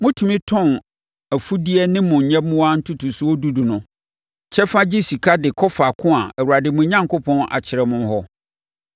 motumi tɔn mo afudeɛ ne mo nyɛmmoa ntotosoɔ dudu no kyɛfa gye sika de kɔ faako a Awurade, mo Onyankopɔn, akyerɛ mo hɔ.